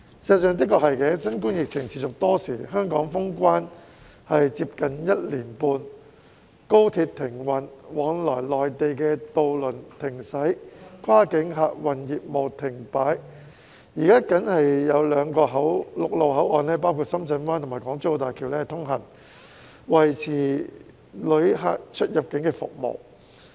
事實上，新冠疫情持續多時，香港封關接近一年半，高鐵停運、往來內地渡輪停駛、跨境客運業務停擺，現時僅有兩個陸路口岸包括深圳灣及港珠澳大橋通行，維持旅客的出入境服務。